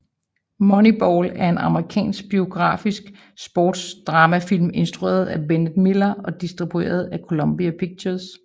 Moneyball er en amerikansk biografisk sportsdramafilm instrueret af Bennett Miller og distribueret af Columbia Pictures